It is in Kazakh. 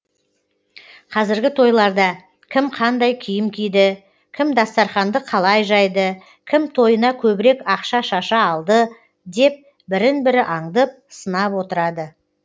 қазіргі тойларда кім қандай киім киді кім дастарханды қалай жайды кім тойына көбірек ақша шаша алды деп бірін бірі аңдып сынап отырады